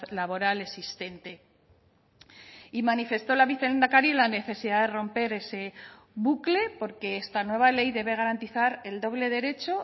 laboral existente y manifestó la vicelehendakari la necesidad de romper ese bucle porque esta nueva ley debe garantizar el doble derecho